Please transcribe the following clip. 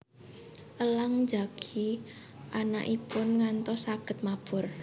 Elang njagi anakipun ngantos saged mabur